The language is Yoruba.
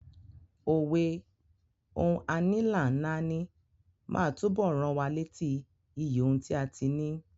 Òwe "Ohun a ní là ń náání" máa túbọ̀ rán wa létí iyì ohun tí a ti ní.